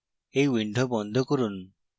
এই window বন্ধ করুন